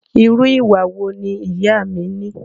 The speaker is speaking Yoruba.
Irú ìwà wo ni ìyá a mí ní?